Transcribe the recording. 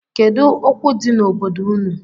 Kedu okwu di n’obodo unu?